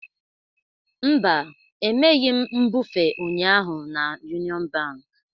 Mba, emeghị m mbufe ụnyaahụ na Union Bank